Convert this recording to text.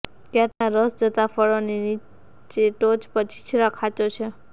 ત્યાં તેનાં રસ ઝરતાં ફળોની ની ટોચ પર છીછરા ખાંચો છે